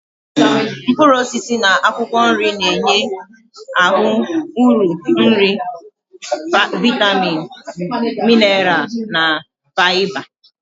Mkpuruosisi na akwokwo nri na-enwe ahu uru nri viatamin, minaral na fiaba